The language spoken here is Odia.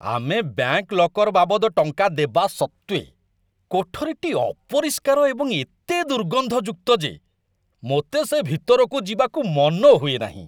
ଆମେ ବ୍ୟାଙ୍କ ଲକର ବାବଦ ଟଙ୍କା ଦେବା ସତ୍ତ୍ୱେ, କୋଠରୀଟି ଅପରିଷ୍କାର ଏବଂ ଏତେ ଦୁର୍ଗନ୍ଧଯୁକ୍ତ ଯେ ମୋତେ ସେ ଭିତରକୁ ଯିବାକୁ ମନ ହୁଏନାହିଁ।